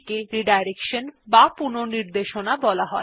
এখন দেখা যাক কিভাবে এই ৩ স্ট্রিম এ পুনর্নির্দেশনা করা যায়